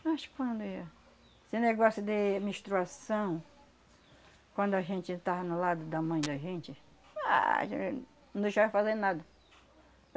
Mas quando ia... Esse negócio de menstruação, quando a gente estava no lado da mãe da gente, ah não deixava eu fazer nada.